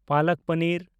palak paneer